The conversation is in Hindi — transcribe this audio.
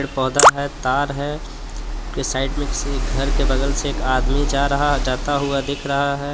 पेड़ पौधा है तार है के साइड में किसी घर के बगल से एक आदमी जा रहा जाता हुआ दिख रहा है।